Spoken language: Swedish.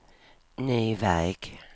ny väg